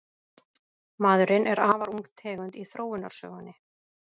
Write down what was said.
Maðurinn er afar ung tegund í þróunarsögunni.